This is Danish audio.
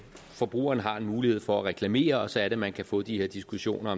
forbrugeren har en mulighed for at reklamere og så er det man kan få de her diskussioner